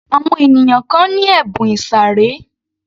Àwọn ènìyàn kan ni ẹ̀bùn ìsàré